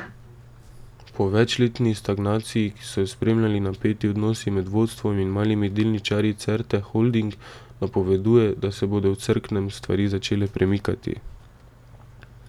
Po večletni stagnaciji, ki so jo spremljali napeti odnosi med vodstvom in malimi delničarji Certe Holding, napoveduje, da se bodo v Cerknem stvari začele premikati.